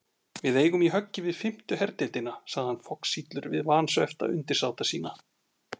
Við eigum í höggi við fimmtu herdeildina, sagði hann foxillur við vansvefta undirsáta sína.